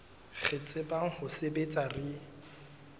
re tsebang ho sebetsa re